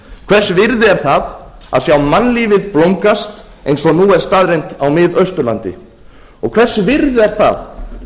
hvers virði er það að sjá mannlífið blómgast eins og nú er staðreynd á miðausturlandi og hvers virði er það